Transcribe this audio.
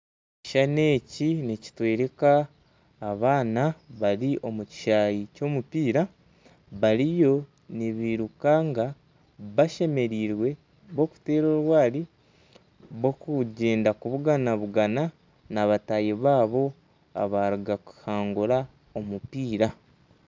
Ekishushani eki nikitwereka abaana bari omukishayi ky'omupiira bariyo nibirukanga bashemereirwe bakuteera orwaari bakugyenda kubugabugana na bataahi baabo abaruga kuhangura omupiira.